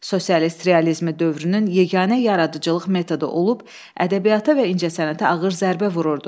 Sosialist realizmi dövrünün yeganə yaradıcılıq metodu olub, ədəbiyyata və incəsənətə ağır zərbə vururdu.